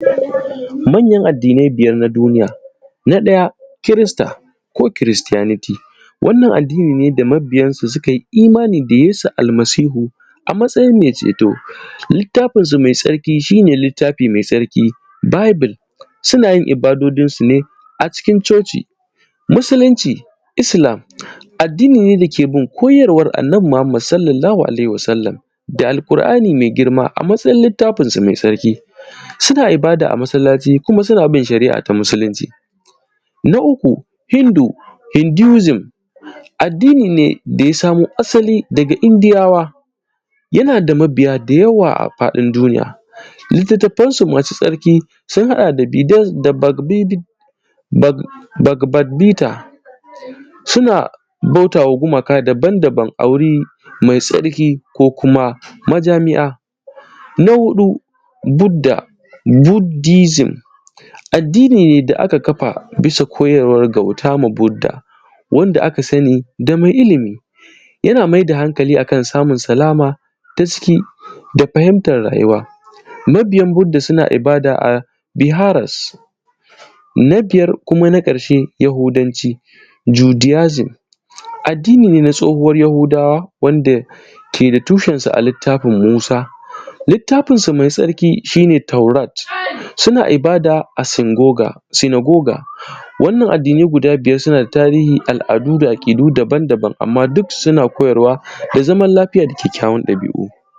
Manyan addinai biyar na duniya. na daya Christa ko Christianity: Wannan addini ne da mabiyansu suka yi imani da Yesu almasihu a matsayin mai ceto. Littafinsu mai tsarki shi ne, littafi mai tsarki wato Bibble. Suna yin ibadodinsu ne a cikin Coci. Musulunci: Addini ne da ke bin koyarwar annabi Muhammadu (SAW) da Al’ƙur’ani mai girma a matsayin littafinsu mai tsarki. Suna ibada a masallaci, kuma suna bin shari’a ta musulunci. Hindusm: Addini ne da ya samo asali daga Indiyawa. Yana da mabiya da yawa a faɗin duniya. Littafansu masu tsarki sun haɗa da: Didon da Bakbita suna bauta wa gumaka daban-daban, mai tsarki ko kuma majami’a. Buddism: Addini ne da aka kafa bisa koyarwar bauta da Budda, wanda aka sani da me ilimi yana maida hankali a kan samun salama ta ciki da fahimtar rayuwa. Mabiyan Budda suna ibada a Biharas. Yahudanci: Addin ne na tsohuwar yahudawa wanda ke da tushensa a littafin Musa. Littafinsu mai tsarki shi ne, Faurat, suna ibada a Sinboga. Wannan addinai guda biyar, suna da tarihi, al’adu da aƙidu daban-daban. Duka suna koyarwa ne a kan zaman lafiya.